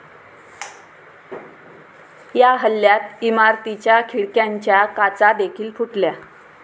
या हल्ल्यात इमारतीच्या खिडक्यांच्या काचा देखील फुटल्या.